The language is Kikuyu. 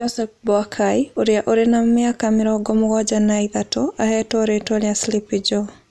Joseph Boakai, ũrĩa ũrĩ na mĩaka mĩrongo mũgwanja na ithatũ: Aheetwo rĩĩtwa rĩa "Sleepy Joe".